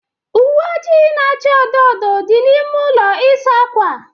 Uwe ojii na-acha odo odo dị n'ime ụlọ ịsa ákwà.